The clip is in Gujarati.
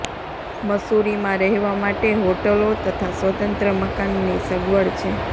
મસૂરીમાં રહેવા માટે હોટલો તથા સ્વતંત્ર મકાનની સગવડ છે